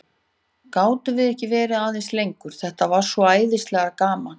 Gátum við ekki verið aðeins lengur, þetta var svo æðislega gaman?